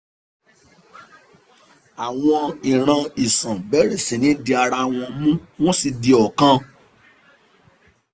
àwọn ìran iṣan bẹ̀rẹ̀ sí ní di ara wọn mú wọ́n sì di ọ̀kan